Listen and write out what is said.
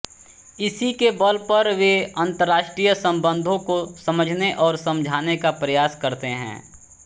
इसी के बल पर वे अन्तर्राष्ट्रीय सम्बन्धों को समझने और समझाने का प्रयास करते हैं